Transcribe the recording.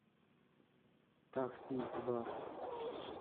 такси два